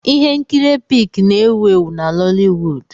Ihe nkiri Epic na-ewu ewu na Noliwud.